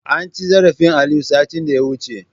Anci zarafin Aliyu, satin da ya wuce.